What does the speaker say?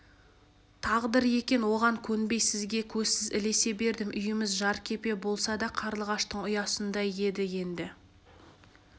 тағдыр екен оған көнбей сізге көзсіз ілесе бердім үйіміз жеркепе болса да қарлығаштың ұясындай еді енді